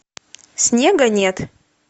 снега нет